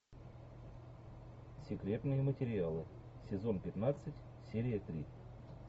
секретные материалы сезон пятнадцать серия три